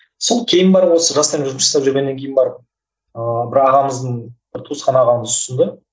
сол кейін барып осы жастармен жұмыс жасап жүргеннен кейін барып ыыы бір ағамыздың бір туысқан ағамыз ұсынды